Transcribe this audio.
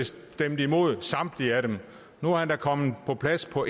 stemte imod samtlige nu er han da komme på plads på